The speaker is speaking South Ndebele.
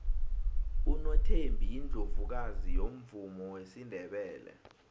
unothembi yiundlovukazi yomvumo wesindebele